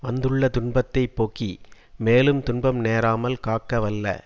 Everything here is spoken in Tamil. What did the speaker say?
வந்துள்ள துன்பத்தை போக்கி மேலும் துன்பம் நேராமல் காக்கவல்ல